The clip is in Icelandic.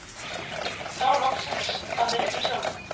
Enn þá loksins að leiknum sjálfum.